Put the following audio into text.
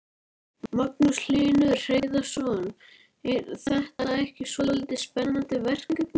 Magnús Hlynur Hreiðarsson: Er þetta ekki svolítið spennandi verkefni?